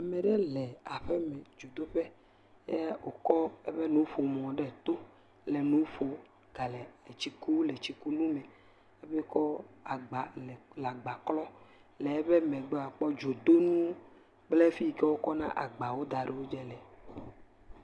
Ame aɖe le aƒe me dzodoƒe eye wokɔ eƒe nuƒomɔ ɖe to le nu ƒom gale tsi kum le tsikunu me. Hafi kɔ agba le agba klɔm. le eƒe megbea akpɔ dzodonu kple fi yi ke wokɔna agbawo da ɖe wodzi le.